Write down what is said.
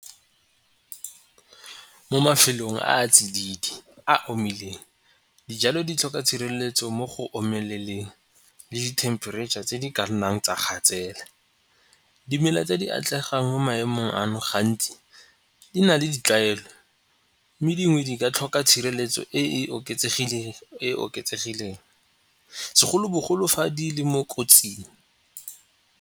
Mo mafelong a a tsididi a omileng dijalo di tlhoka tshireletso mo go omeleleng le dithempereitšha tse di ka nnang tsa gatsela. Dimela tse di atlegang mo maemong ano gantsi di na le ditlwaelo mme dingwe di ka tlhoka tshireletso e e e oketsegileng segolobogolo fa di le mo kotsing.